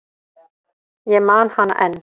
Ég man hana enn.